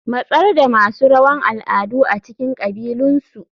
Matsar da masu rawan al'adu a cikin kabilunsu.